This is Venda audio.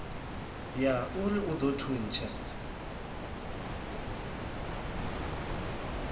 ya urui u ḓo thuntsha